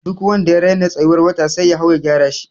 Duk wanda ya rena tsayuwar wata sai ya hau ya gyara shi.